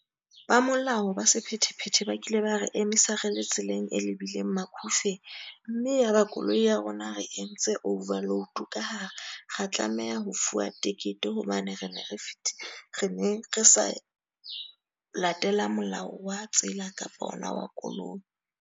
Ba molao ba sephethephethe ba kile ba re emisa re le tseleng e lebileng Macufe. Mme ya ba koloi ya rona re entse over load ka hara ra tlameha ho fuwa tekete, hobane re ne re re ne re sa latela molao wa tsela kapa ona wa koloi.